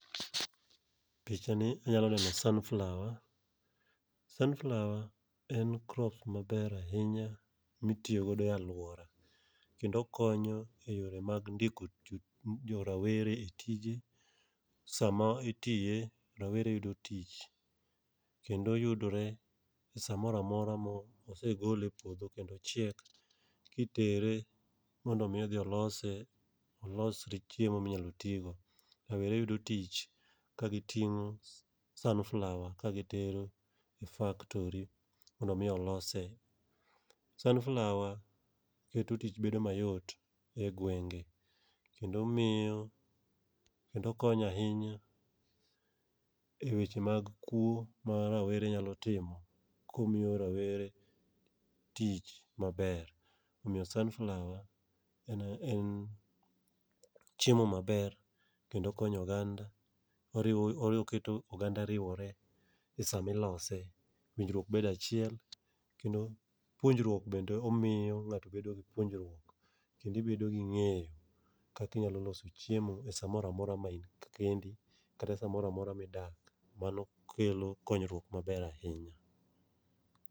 Pichani anyalo neno sunflower. Sunflower en crop maber ahinya mitiyo godo e alwora ,kendo okonyo e yore mag ndiko jorawere e tijni. Sama itiye, rawere yudo tich, kendo yudore samora mora mo segole e puodho kendo ochiek, kitere mondo omi odhi olose, olos chiemo minyalo ti go. Rawere yudo tich ka giting'o sunflower kagitero e mondo omi olose. Sun flower keto tich bedo mayot e gwenge, kendo okonyo ahinya e weche mag kuwo ma rawere nyalo timo komiyo rawere tich maber. Omiyo sunflower en chiemo maber kendo okonyo oganda. Oketo oganda riwore e sama ilose. Winjruok bedo achiel, kendo puonjruok bende omiyo ng'ato bedo gi puonjruok, kendo ibedo gi ng'eyo kaka inyalo loso chiemo e samora mora ma in kendi, kata samora mora midak. Mano kelo konyruok maber ahinya.